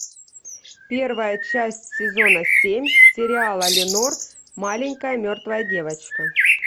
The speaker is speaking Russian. первая часть сезона семь сериала ленор маленькая мертвая девочка